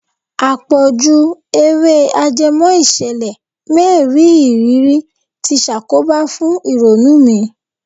Àpọ̀jù Eré ajẹmọ́ ìṣẹ̀lẹ̀ mériìrí ti ṣàkóbà fún ìrònú mi.